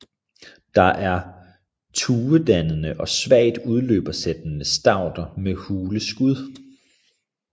Det er tuedannende og svagt udløbersættende stauder med hule skud